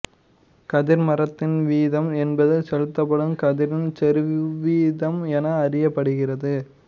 கதிர்மருந்தின் வீதம் என்பது செலுத்தப்படும் கதிரின் செறிவுவீதம் என அறியப்படுகிறது